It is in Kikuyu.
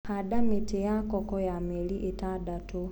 Handa mĩtĩ ya koko ya mĩeri ĩtandatũ